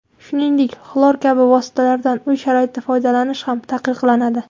Shuningdek, xlor kabi vositalardan uy sharoitida foydalanish ham taqiqlanadi.